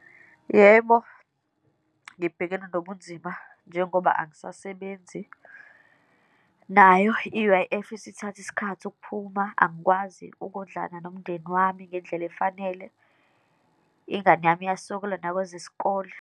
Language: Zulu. Yebo, ngibhekene nobunzima njengoba angisasebenzi, nayo i-U_I_F isithathe isikhathi ukuphuma, angikwazi ukondlana nomndeni wami ngendlela efanele, ingane yami uyasokola nakwezesikole.